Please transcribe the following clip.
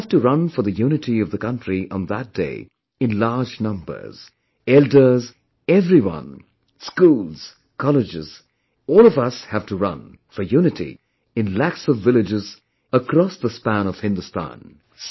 We have to run for the unity of the country on that day in in large numbers; elders, everyone, schools, colleges, all of us have to run for unity in lakhs of villages across the span of Hindustan